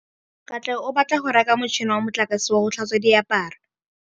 Katlego o batla go reka motšhine wa motlakase wa go tlhatswa diaparo.